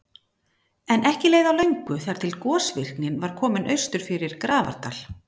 En ekki leið á löngu þar til gosvirknin var komin austur fyrir Grafardal.